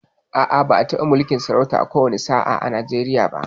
A'a, ba'a taɓa mulkin sarauta a ko wani sa'a a Nijeriya ba